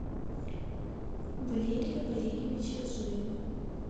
валерия валериевича зуева